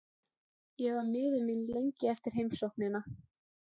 Ég var miður mín lengi eftir heimsóknina.